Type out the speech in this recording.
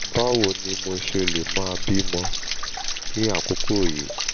báwo ni mo ṣe lè máa bí ọmọ ní àkókò yìí?